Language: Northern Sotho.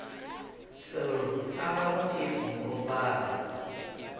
sello sa gagwe ke moropana